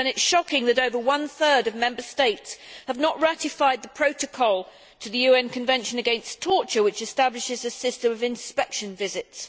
It is shocking then that over one third of Member States have not ratified the Protocol to the UN Convention against Torture, which establishes a system of inspection visits.